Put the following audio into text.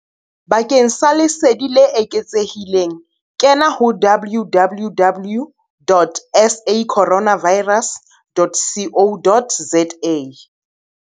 Bakeng sa lesedi le eketsehileng kena ho www dot sacorona virus dot co dot za.